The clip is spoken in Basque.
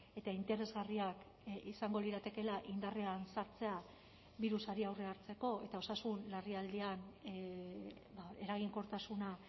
eta interesgarriak izango liratekeela indarrean sartzea birusari aurrea hartzeko eta osasun larrialdian eraginkortasuna